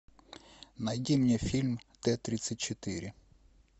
найди мне фильм т тридцать четыре